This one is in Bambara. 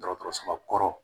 Dɔgɔtɔrɔsoba kɔrɔ